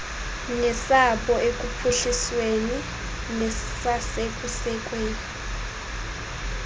nesabo ekuphuhlisweni nasekusekweni